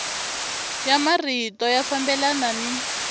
ya marito ya fambelana ni